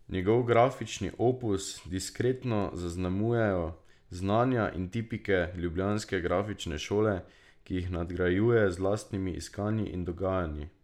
Njegov grafični opus diskretno zaznamujejo znanja in tipike Ljubljanske grafične šole, ki jih nadgrajuje z lastnimi iskanji in dognanji.